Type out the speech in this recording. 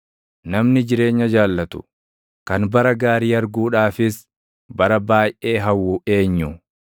Namni jireenya jaallatu, kan bara gaarii arguudhaafis bara baayʼee hawwu eenyu?